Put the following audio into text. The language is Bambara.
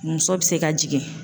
Muso bɛ se ka jigin.